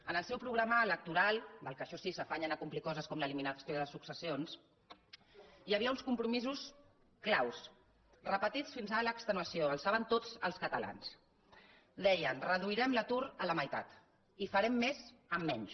en el seu programa electoral del qual això sí s’afanyen a complir coses com l’eliminació de successions hi havia uns compromisos clau repetits fins a l’extenuació els saben tots els catalans deien reduirem l’atur a la meitat i farem més amb menys